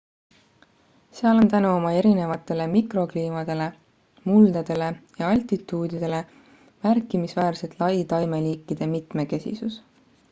seal on tänu oma erinevatele mikrokliimadele muldadele ja altituudidele märkimisväärselt lai taimeliikide mitmekesisus